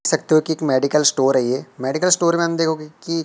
सकते हो कि एक मेडिकल स्टोर है ये मेडिकल स्टोर में हम देखोगे कि--